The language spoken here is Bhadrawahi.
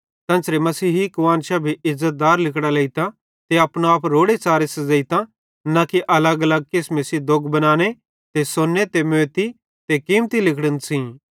तेन्च़रे मसीही कुआन्शां भी इज़्ज़तदार लिगड़ां लेइतां ते अपनो आप रोड़ेच़ारे सज़ेइतां न कि अलगअलग किसमे सेइं दोग बनाने ते सोन्ने ते मोती ते कीमती लिगड़न सेइं